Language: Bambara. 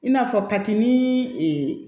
I n'a fɔ kati nii